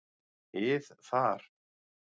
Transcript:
ið þar.